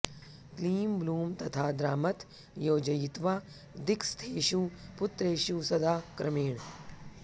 क्लीँ ब्लूँ तथा द्रामथ योजयित्वा दिक्स्थेषु पत्रेषु सदा क्रमेण